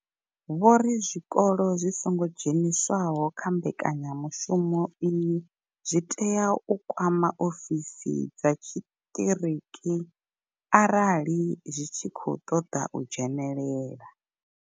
Vho ri zwikolo zwi songo dzheniswaho kha mbekanyamushumo iyi zwi tea u kwama ofisi dza tshiṱiriki arali zwi tshi khou ṱoḓa u dzhenelela.